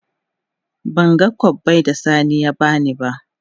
Ban gan kobbai da sani ya bani na.